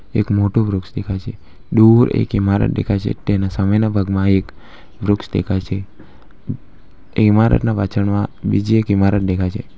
એક મોટું વૃક્ષ દેખાય છે દુર એક ઈમારત દેખાય છે તેના સામેના ભાગમાં એક વૃક્ષ દેખાય છે તે ઇમારતના પાછળ માં બીજી એક ઈમારત દેખાય છે.